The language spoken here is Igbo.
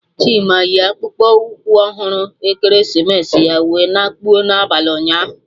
Chima yi akpụkpụ ụkwụ ọhụrụ ekeresimesi ya wee na kpụọ n'abalị ụnyaahụ